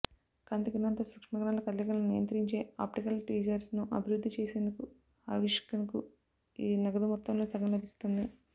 కాంతి కిరణాలతో సూక్ష్మకణాల కదలికలను నియంత్రించే ఆప్టికల్ ట్వీజర్స్ను అభివృద్ధి చేసినందుకు ఆష్కిన్కు ఈ నగదు మొత్తంలో సగం లభిస్తుంది